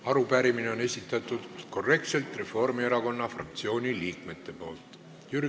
Arupärimine on Reformierakonna fraktsiooni liikmete poolt korrektselt esitatud.